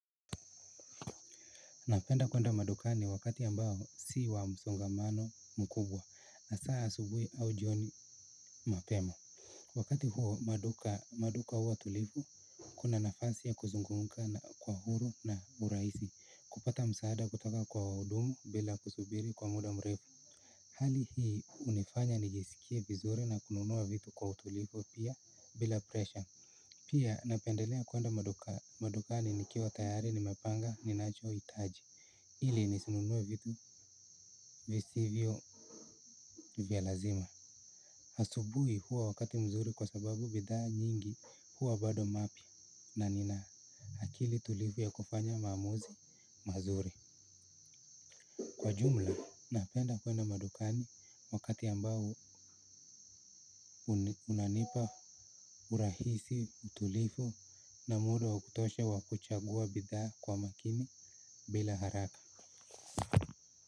Napenda kuenda madukani wakati ambao si wa msongamano mkubwa hasaa asubuhi au jioni mapema. Wakati huo maduka huwa tulivu, kuna nafasi ya kuzungumza kwa huru na urahisi, kupata msaada kutaka kwa wahudumu bila kusubiri kwa muda mrefu. Hali hii hunifanya nijisikie vizuri na kununua vitu kwa utulivu pia bila presha. Pia napendelea kuenda madukani nikiwa tayari nimepanga ninacho hitaji. Ili nisinunue vitu visivyo vya lazima, asubuhi huwa wakati mzuri kwa sababu bidhaa nyingi huwa bado mapi na nina akili tulivu ya kufanya maamuzi mazuri. Kwa jumla napenda kwenda madukani wakati ambao unanipa urahisi, utulivu na muda wa kutosha wa kuchagua bidhaa kwa makini bila haraka.